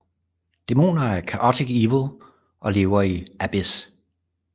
Dæmoner er chaotic evil og lever i Abyss